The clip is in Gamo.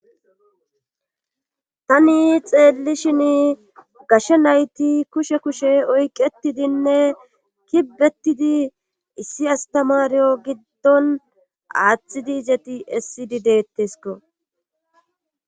Tani xeellishin gashshe nayti kushe kushe oyqetidinne kibetidi issi astamariyo giddon aaththidi izeti essidi deettesko.